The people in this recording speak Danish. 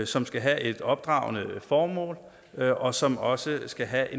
som skal have et opdragende formål og som også skal have